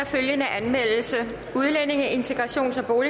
følgende anmeldelse udlændinge integrations og